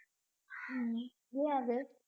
உம் ஏன் அது